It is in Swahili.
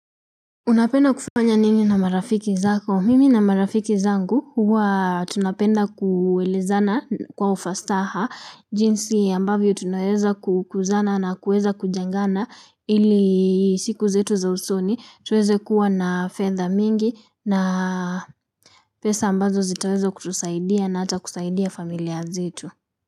Unapenda kufanya nini na marafiki zako? Mimi na marafiki zangu huwa tunapenda kuelezana kwa ufasaha jinsi ambavyo tunaweza kukuzana na kueza kujengana ili siku zetu za usoni tuweze kuwa na fedha mingi na pesa ambazo zitaweza kutusaidia na hata kusaidia familia zetu.